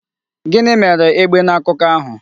Gịnị mere egbe n'akuko ahu?